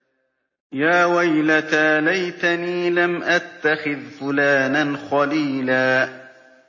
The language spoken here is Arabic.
يَا وَيْلَتَىٰ لَيْتَنِي لَمْ أَتَّخِذْ فُلَانًا خَلِيلًا